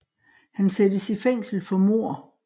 Han sættes i fængsel for mord